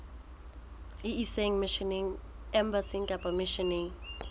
e ise embasing kapa misheneng